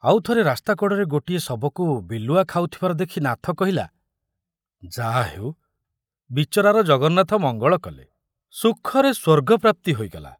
ଆଉ ଥରେ ରାସ୍ତା କଡ଼ରେ ଗୋଟିଏ ଶବକୁ ବିଲୁଆ ଖାଉଥିବାର ଦେଖି ନାଥ କହିଲା, ଯାହା ହେଉ ବିଚରାର ଜଗନ୍ନାଥ ମଙ୍ଗଳ କଲେ, ସୁଖରେ ସ୍ବର୍ଗ ପ୍ରାପ୍ତି ହୋଇଗଲା।